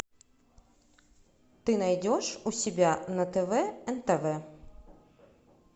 ты найдешь у себя на тв нтв